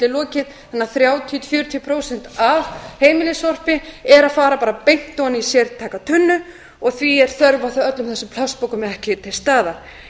lokið þannig að þrjátíu til fjörutíu prósent af heimilissorpi er að fara bara beint ofan í sértæka tunnu og því er þörf á öllum þessum plastpokum ekki til staðar